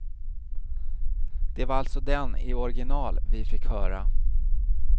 Det var alltså den, i original, vi fick höra.